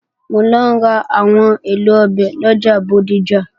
Mò ń lọ ra àwọn èlò ọbẹ̀ lọjà Bódìjà